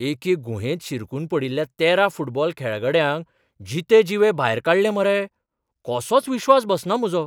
एके गुहेंत शिरकून पडिल्ल्या तेरा फुटबॉल खेळगड्यांक जितेजिवे भायर काडले मरे, कसोच विश्वास बसना म्हजो.